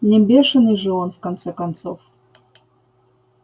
не бешеный же он в конце концов